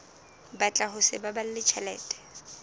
batla ho sa baballe tjhelete